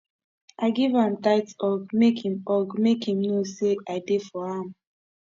i give am tight hug make im hug make im know say i dey for am